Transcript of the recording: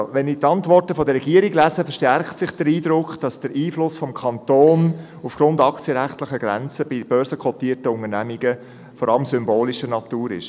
Wenn ich die Antworten der Regierung lese, verstärkt sich der Eindruck, dass der Einfluss des Kantons aufgrund aktienrechtlicher Grenzen bei börsenkotierten Unternehmungen vor allem symbolischer Natur ist.